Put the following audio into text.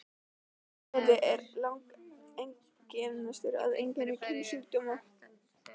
Lekandi er langalgengastur af eiginlegum kynsjúkdómum.